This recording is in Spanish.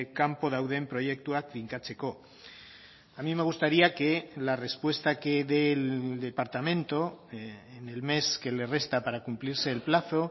kanpo dauden proiektuak finkatzeko a mí me gustaría que la respuesta que dé el departamento en el mes que le resta para cumplirse el plazo